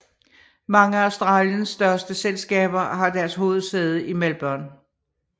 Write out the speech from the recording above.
Mange af Australiens største selskaber har deres hovedsæde i Melbourne